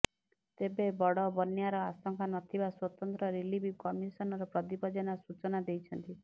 ତେବେ ବଡ ବନ୍ୟାର ଆଶଙ୍କା ନଥିବା ସ୍ବତନ୍ତ୍ର ରିଲିଫ କମିଶନର ପ୍ରଦୀପ ଜେନା ସୂଚନା ଦେଇଛନ୍ତି